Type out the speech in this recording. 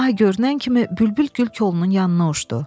Ay görünən kimi bülbül gül kolunun yanına uçdu.